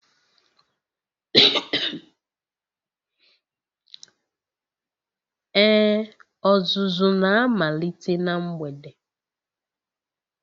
Ee, ọzụzụ na-amalite na mgbede.